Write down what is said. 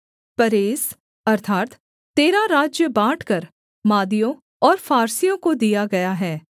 परेस अर्थात् तेरा राज्य बाँटकर मादियों और फारसियों को दिया गया है